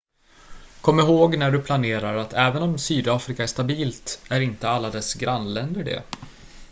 kom ihåg när du planerar att även om sydafrika är stabilt är inte alla dess grannländer det